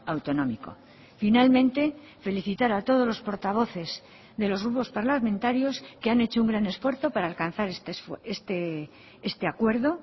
autonómico finalmente felicitar a todos los portavoces de los grupos parlamentarios que han hecho un gran esfuerzo para alcanzar este acuerdo